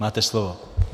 Máte slovo.